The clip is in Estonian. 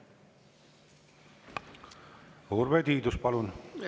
Urve Tiidus, palun!